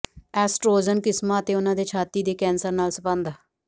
oestrogen ਕਿਸਮਾਂ ਅਤੇ ਉਹਨਾਂ ਦੇ ਛਾਤੀ ਦੇ ਕੈਂਸਰ ਨਾਲ ਸੰਬੰਧ